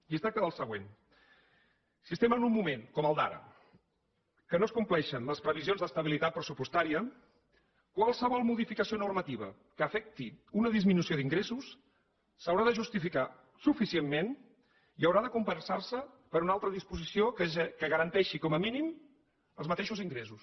i es tracta del següent si estem en un moment com el d’ara en què no es compleixen les previsions d’estabilitat pressupostària qualsevol modificació normativa que afecti una disminució d’ingressos s’haurà de justificar suficientment i haurà de compensar se per una altra disposició que garanteixi com a mínim els mateixos ingressos